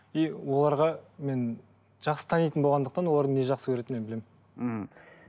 и оларға мен жақсы танитын болғандықтан олардың не жақсы көретінін мен білемін ммм